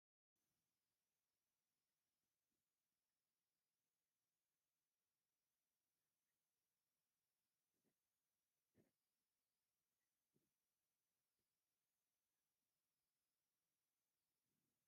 እዚ ኣብ ጥንታዊ ኣክሱም ዝርከብ ናይ ሃፀያት መቃብርን ባንክን ዝርከቦ ጥንታዊ ቅርሲ እዩ። እዚ ቅርሲ እዚ ድማ ቡዙሓት ጎብነይቲ እነዳመፁ ይግብንዩዎ እዮም።